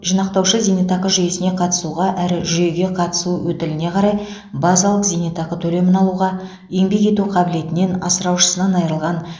жинақтаушы зейнетақы жүйесіне қатысуға әрі жүйеге қатысу өтіліне қарай базалық зейнетақы төлемін алуға еңбек ету қабілетінен асыраушысынан айырылған